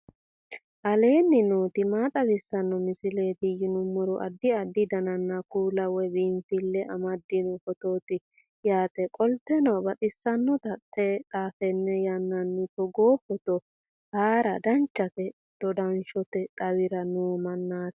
aleenni nooti maa xawisanno misileeti yinummoro addi addi dananna kuula woy biinfille amaddino footooti yaate qoltenno baxissannote xa tenne yannanni togoo footo haara danchate dodanshote xawira noo mannaati